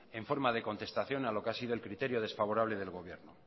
en forma de contestación a lo que ha sido el criterio desfavorable del gobierno